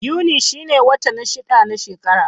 Yuni shine wata na shida na shekara.